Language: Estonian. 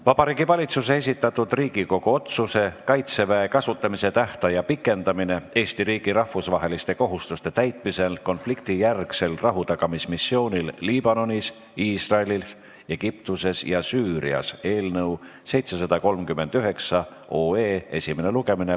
Vabariigi Valitsuse esitatud Riigikogu otsuse "Kaitseväe kasutamise tähtaja pikendamine Eesti riigi rahvusvaheliste kohustuste täitmisel konfliktijärgsel rahutagamismissioonil Liibanonis, Iisraelis, Egiptuses ja Süürias" eelnõu 739 esimene lugemine.